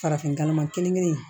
Farafin galama kelen kelen kelen